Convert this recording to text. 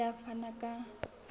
o ile a fana ka